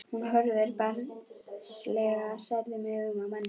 Hún horfir barnslega særðum augum á manninn.